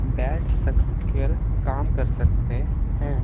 बैठ सक कर काम कर सकते हैं।